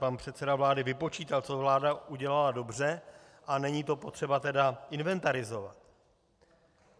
Pan předseda vlády vypočítal, co vláda udělala dobře, a není to potřeba tedy inventarizovat.